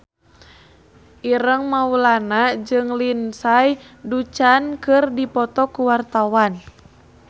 Ireng Maulana jeung Lindsay Ducan keur dipoto ku wartawan